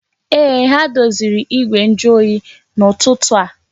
Ee, ha doziri igwe njuoyi n'ụtụtụ a